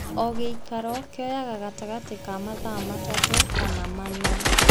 O gĩikaro kĩoyaga gatagatĩ ka mathaa matatũ kana mana